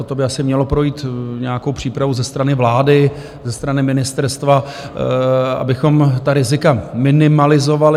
Toto by asi mělo projít nějakou přípravou ze strany vlády, ze strany ministerstva, abychom ta rizika minimalizovali.